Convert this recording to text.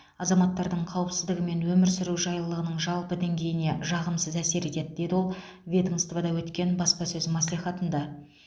азаматтардың қауіпсіздігі мен өмір сүру жайлылығының жалпы деңгейіне жағымсыз әсер етеді деді ол ведомствода өткен баспасөз мәслихатында